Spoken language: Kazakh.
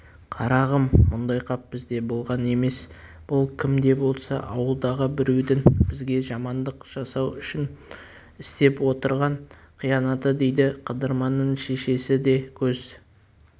қарағым мұндай қап бізде болған емес бұл кім де болса ауылдағы біреудің бізге жамандық жасау үшін істеп отырған қиянаты дейді қыдырманның шешесі де көз